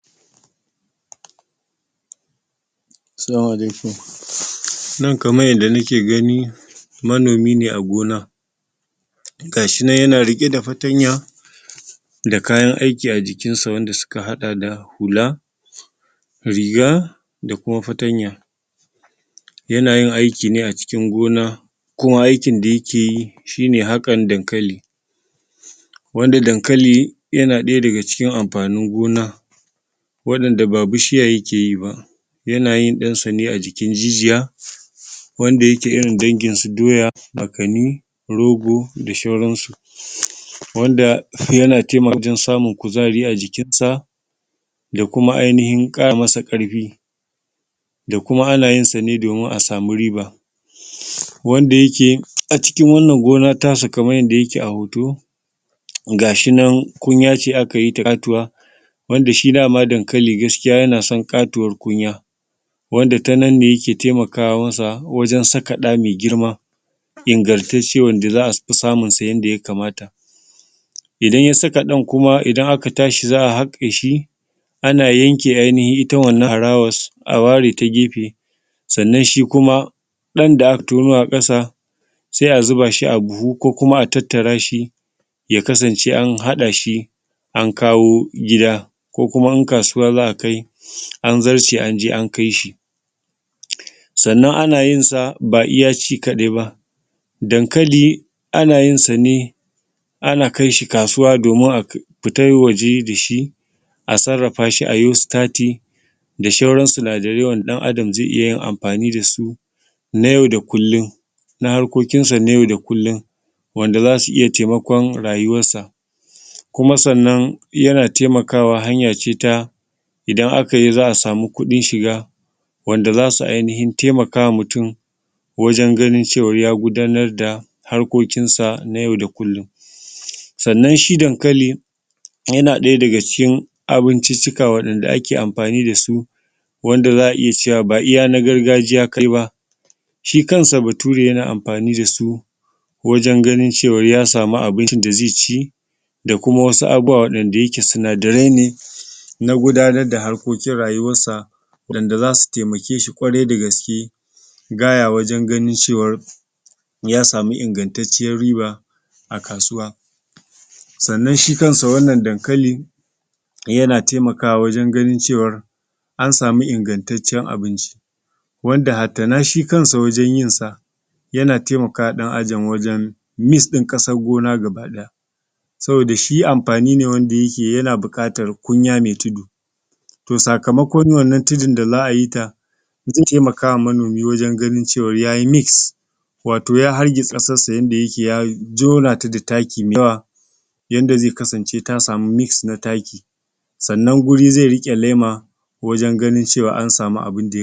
Salamu alaikum, nan kamar yanda nake gani manomi ne a gona ga shi nan yana riƙe da fatanya da kayan aiki a jikinsa wanda suka haɗa da hula, riga da kuma fatanya. Yana aiki ne a cikin gona kuma aikin da yake yi shine haƙan dankali, wanda dankali yana ɗaya daga cikin amfanin gona waɗanda ba bishiya yake yi ba. Yanayin ɗinsa ne ajiki jijiya wanda yake irin dangin su doya, ma kannin rogo da sauran su, wanda yake taimakawa wajen samun kuzari a jikinsa da kuma ainihin ƙara masa ƙarfi. Da kuma ana yin sa ne domin a samu riba. Wanda yake a cikin wannan gona tasa kamar yanda yake a hoto ga shi nan, kunya ce aka yi ta ƙatuwa wanda shi dama dankali gaskiya yana son ƙatuwar kunya, wanda tananne yake taimaka masa wajen saka ɗa mai girma ingantacce wanda za a samunsa yanda ya kamata idan ya saka ɗan. Kuma idan aka tashi za a haƙe shi ana yanke ainihin ita wannan harawa a ware ta gefe sannan shi kuma ɗan da aka tono a ƙasa se a zuba shi a buhu ko kuma a tattara shi ya kasance an haɗa shi an kawo gida ko kuma in kasuwa za ka kai an zarce an je an kai shi. Sannan ana yin sa ba iya ci kaɗai ba, dankali ana yin sa ne ana kai shi kasuwa domin a fita waje da shi a sarrafa shi a yi sitati da sauran su, sinadarai da ɗan adam ze yi amfani da su na yau da kullun, na harkokin sa na yau da kullun wanda zasu iya taimakon rayuwarsa. Kuma sannan yana taimakawa hanyace ta idan aka yi za a samu shiga wanda zasu ainihin taimaka ma mutum wajen ganin cewa ya gudanar da harkokinsa na yau da kullun. Sannan shi dankali yana ɗaya daga cikin abinciccika wanda ake amfani da su, wanda za a iya cewa ba iya na gargajiya kai ba, shi kansa Bature yana amfani da su wajen ganin cewa ya samu abincin da ze ci da kuma wasu abubuwa waɗanda yake sinadarai ne na gudanar da harkokin rayuwansa waɗanda zasu taimake shi ƙwarai da gaske wajen ganin cewa ya samu ingantacciyar riba a kasuwa. Sannan shi kansa wannan dankali yana taimakawa wajen ganin cewa an samu ingantacciyar abinci wanda hatta shi kansa wajen yin sa mis ɗin ƙasan gona gaba ɗaya saboda shi amfani ne wanda yake yana buƙatan kunya mai tudu. To sakamakon wannan tudun da za a yi ta, ze taimakawa manomi wajen ganin cewa ya yi mis wato ya hargitsa sassa yanda yake ya haɗa ta da taki mai yawa yanda ze kasance ta samu mis na taki sannan guri ze riƙe lema wajen ganin cewa an samu abin da…